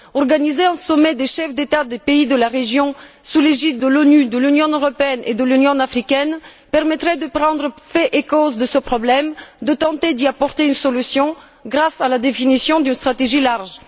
Organiser un sommet des chefs d'État des pays de la région sous l'égide de l'ONU, de l'Union européenne et de l'Union africaine permettrait d'affronter clairement le problème et de tenter d'y apporter une solution grâce à la définition d'une stratégie large.